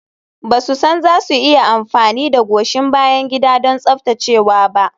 Ba su san za su iya amfani da goshin bayan gida don tsaftacewa ba.